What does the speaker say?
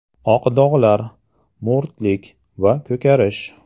Oq dog‘lar, mo‘rtlik va ko‘karish.